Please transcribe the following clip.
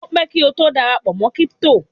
o pẹ ki o to darapọ̀ mọ crypto